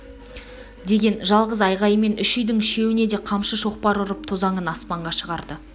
деген жалғыз айғайымен үш үйдің үшеуне де қамшы шоқпар ұрып тозаңын аспанға шығарды